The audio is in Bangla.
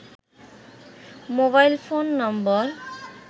mobile phone number